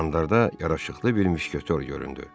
Qandarda yaraşıqlı bir müşketiyor göründü.